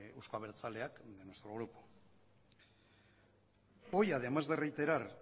euzko abertzaleak y de nuestro grupo hoy además de reiterar